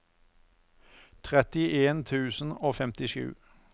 trettien tusen og femtisju